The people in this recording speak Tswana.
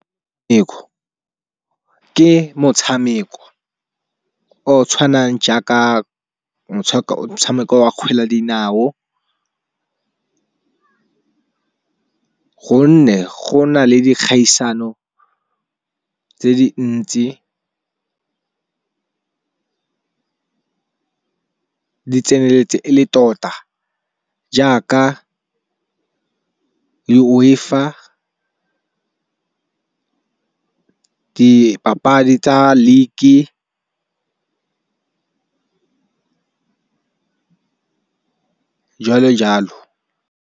Ke motshameko o o tshwanang jaaka motshameko wa kgwele ya dinao. Gonne go na le dikgaisano tse di ntsi, di tseneletse e le tota jaaka le UEFA dipapadi tsa league-e jalo jalo.